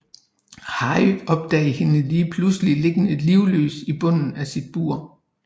Harry opdager hende lige pludselig liggende livløs i bunden af sit bur